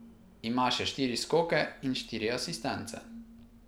Ima še štiri skoke in štiri asistence.